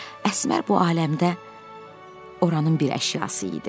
Və Əsmər bu aləmdə oranın bir əşyası idi.